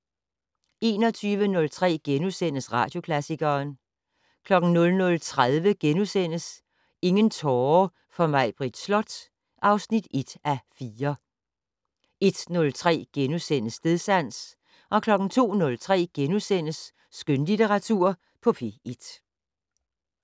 21:03: Radioklassikeren * 00:30: Ingen tårer for Maibritt Slot (1:4)* 01:03: Stedsans * 02:03: Skønlitteratur på P1 *